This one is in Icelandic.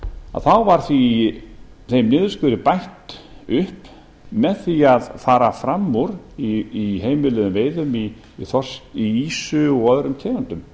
að þá var þeim niðurskurði bætt upp með því að fara fram úr í heimiluðum veiðum í ýsu og öðrum tegundum